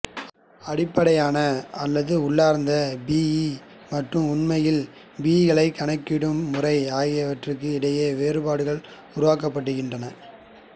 அடிப்படையான அல்லது உள்ளார்ந்த பிஇ மற்றும் உண்மையில் பிஇக்களை கணக்கிடும் முறை ஆகியவற்றிற்கு இடையில் வேறுபாடுகள் உருவாக்கப்பட்டிருக்கின்றன